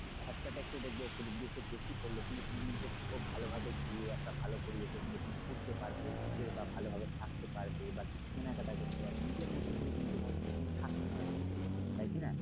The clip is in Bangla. খরচা টা একটু দেখবে যদি একটু বেশি পরলো কিন্তু তুমি তো খুব ভালোভাবে গিয়ে একটা ভালো পরিবেশে গিয়ে ঘুরতে পারবে বা ভালোভাবে থাকতে পারবে বা কিছু কেনাকাটা করতে পারবে নিজের মতন করে কিন্তু ওখানে থাকতে পারবে তাই কিনা?